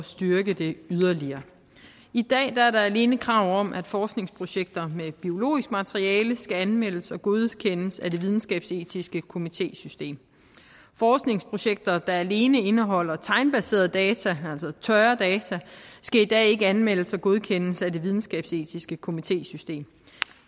styrke det yderligere i dag er der alene krav om at forskningsprojekter med biologisk materiale skal anmeldes og godkendes af det videnskabsetiske komitésystem forskningsprojekter der alene indeholder tegnbaserede data altså tørre data skal i dag ikke anmeldes og godkendes af det videnskabsetiske komitésystem